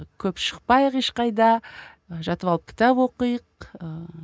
көп шықпайық ешқайда жатып алып кітап оқиық ыыы